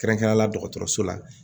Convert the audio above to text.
Kɛrɛnkɛrɛnnenya la dɔgɔtɔrɔso la